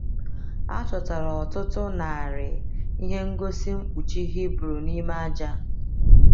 A chọtara ọtụtụ narị ihe ngosi mkpuchi Hibru n’ime aja.